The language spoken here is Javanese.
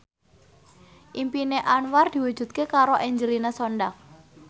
impine Anwar diwujudke karo Angelina Sondakh